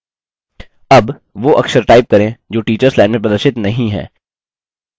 अब वो अक्षर टाइप करें जो टीचर्स लाइन में प्रदर्शित नहीं हैं